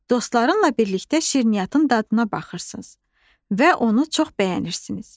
Dostlarınla birlikdə şirniyyatın dadına baxırsınız və onu çox bəyənirsiniz.